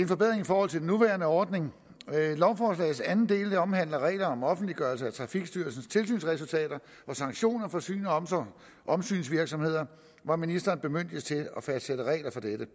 forbedring i forhold til den nuværende ordning lovforslagets anden del omhandler regler om offentliggørelse af trafikstyrelsens tilsynsresultater og sanktioner for syns og omsynsvirksomheder hvor ministeren bemyndiges til at fastsætte regler for dette